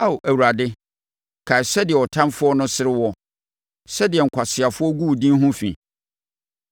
Ao Awurade, kae sɛdeɛ ɔtamfoɔ no sere woɔ, sɛdeɛ nkwaseafoɔ agu wo din ho fi.